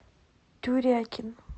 тюрякин